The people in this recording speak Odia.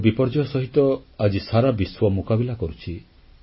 ପ୍ରାକୃତିକ ବିପର୍ଯ୍ୟୟ ସହିତ ଆଜି ସାରା ବିଶ୍ୱ ମୁକାବିଲା କରୁଛି